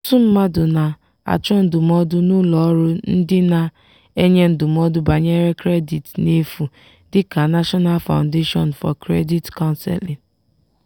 ọtụtụ mmadụ na-achọ ndụmọdụ n'ụlọ ọrụ ndị na-enye ndụmọdụ banyere kredit n'efu dị ka national foundation for credit counseling.